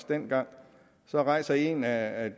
dengang rejste en af